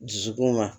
Dusukun ma